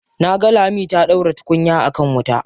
Na ga Lami ta ɗaura tukunya a kan wuta.